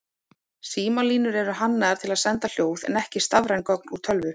Símalínur eru hannaðar til að senda hljóð en ekki stafræn gögn úr tölvu.